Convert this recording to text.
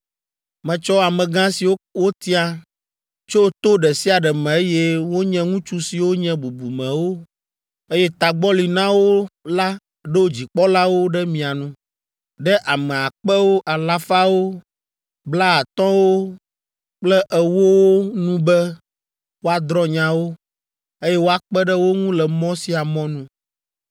Metsɔ amegã siwo wotia tso to ɖe sia ɖe me eye wonye ŋutsu siwo nye bubumewo, eye tagbɔ li na wo la ɖo dzikpɔlawo ɖe mia nu, ɖe ame akpewo, alafawo, blaatɔ̃wo kple ewowo nu be woadrɔ̃ nyawo, eye woakpe ɖe wo ŋu le mɔ sia mɔ nu.